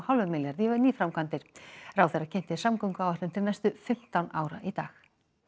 hálfum milljarði í nýframkvæmdir ráðherra kynnti samgönguáætlun til næstu fimmtán ára í dag